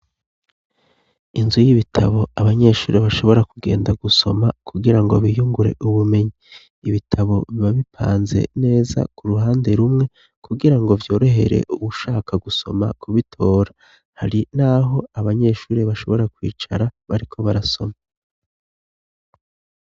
inzu y'ibitabo abanyeshuri bashobora kugenda gusoma kugira ngo biyungure ubumenyi ibitabo bibabipanze neza ku ruhande rumwe kugira ngo vyorohere ushaka gusoma kubitora hari naho abanyeshuri bashobora kwicara bariko barasoma